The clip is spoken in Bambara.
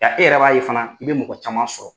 Ja e yɛrɛ b'a ye fana i bɛ mɔgɔ caman sɔrɔ